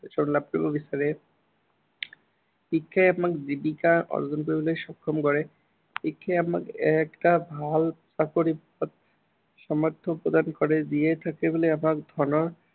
সন্মান লাভ কৰিব বিচাৰে। শিক্ষাই আমাক জীৱিকা আৰ্জন কৰিবলৈ সক্ষম কৰে। শিক্ষাই আমাক এটা ভাল চাকৰি সামৰ্থ্য় প্ৰদান কৰে। জীয়াই থাকিবলৈ আমাক ধনৰ